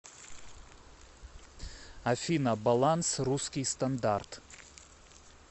афина баланс русский стандарт